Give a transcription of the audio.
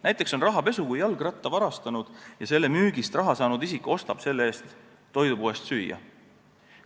Näiteks on rahapesu see, kui jalgratta varastanud ja selle müügist raha saanud isik ostab selle eest toidupoest süüa.